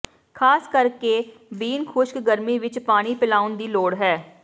ਖ਼ਾਸ ਕਰਕੇ ਬੀਨ ਖੁਸ਼ਕ ਗਰਮੀ ਵਿੱਚ ਪਾਣੀ ਪਿਲਾਉਣ ਦੀ ਲੋੜ ਹੈ